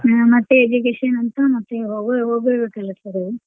ಹಾ ಮತ್ತೆ education ಅಂತ ಮತ್ತೆ ಹೊಗೋರ್ ಹೊಗೋರ್ ಬಿಡ್ಬೇಕಲ್ಲ sir .